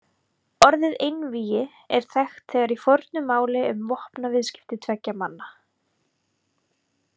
Orðið einvígi er þekkt þegar í fornu máli um vopnaviðskipti tveggja manna.